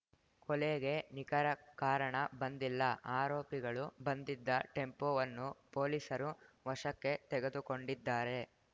ಕೊಲೆಗೆ ನಿಖರ ಕಾರಣ ಬಂದಿಲ್ಲ ಆರೋಪಿಗಳು ಬಂದಿದ್ದ ಟೆಂಪೋವನ್ನು ಪೊಲೀಸರು ವಶಕ್ಕೆ ತೆಗೆದುಕೊಂಡಿದ್ದಾರೆ